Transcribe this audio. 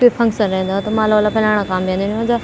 कुई फंक्शन रैंदा तो माला-ओला पिराणा काम भी अन्दीन ज।